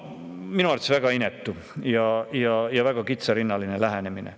Minu arvates väga inetu ja väga kitsarinnaline lähenemine.